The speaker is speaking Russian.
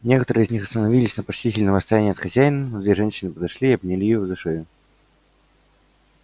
некоторые из них остановились на почтительном расстоянии от хозяина но две женщины подошли и обняли его за шею